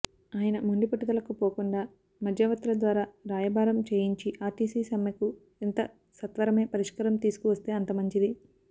ఆయన మొండిపట్టుదలకు పోకుండా మధ్యవర్తుల ద్వారా రాయబారం చేయించి ఆర్టీసి సమ్మెకు ఎంత సత్వరమే పరిష్కారం తీసుకువస్తే అంతమంచిది